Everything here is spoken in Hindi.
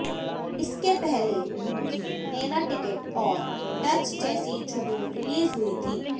इसके पहले उनकी नेला टिकट और टच चेसी छुदु रिलीज हुई थी